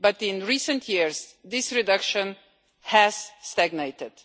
But in recent years this reduction has stagnated.